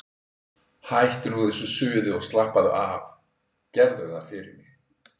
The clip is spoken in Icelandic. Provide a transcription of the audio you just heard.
Hættu nú þessu suði og slappaðu af, gerðu það fyrir mig!